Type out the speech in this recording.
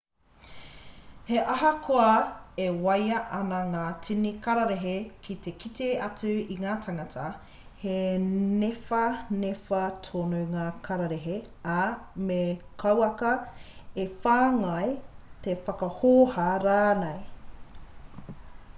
he ahakoa e waia ana ngā tini kararehe ki te kite atu i te tangata he niwhaniwha tonu ngā karerehe ā me kauaka e whāngai e whakahōhā rānei